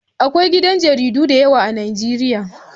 Akwai gidan jaridu da yawa a Nijeriya